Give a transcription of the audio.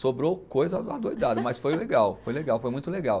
Sobrou coisa adoidado, mas foi legal, foi legal, foi muito legal.